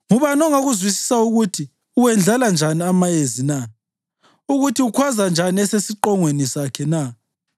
Ngubani ongakuzwisisa ukuthi uwendlala njani amayezi na, ukuthi ukhwaza njani esesiqongweni sakhe na?